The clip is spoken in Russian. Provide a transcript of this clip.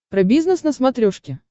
про бизнес на смотрешке